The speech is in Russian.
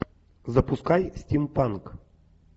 запускай стим панк